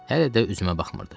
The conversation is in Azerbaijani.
Hələ də üzümə baxmırdı.